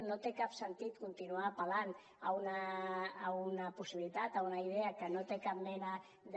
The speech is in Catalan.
no té cap sentit continuar apel·lant a una possibilitat a una idea que no té cap mena de